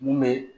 Mun bɛ